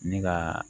Ne ka